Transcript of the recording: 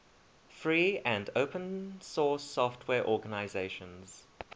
free and open source software organizations